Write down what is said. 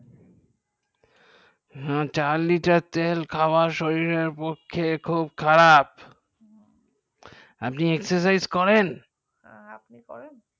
চার liter তেল খাওয়া শরীরের পক্ষে খুব খারাপ আপনি exercise করেন আঁ আপনি করেন